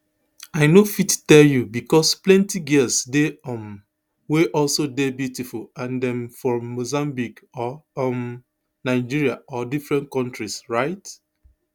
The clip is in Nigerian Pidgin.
i no fit tell you because plenti girls dey um wey also dey beautiful and dem from mozambique or um nigeria or different countries right